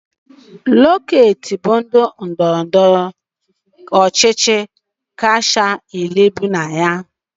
Eket bụ ndị ndọrọ ndọrọ ọchịchị kacha elu bi na ya